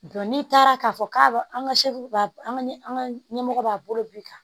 n'i taara k'a fɔ k'a an ka an ka an ka ɲɛmɔgɔ b'a bolo bi kan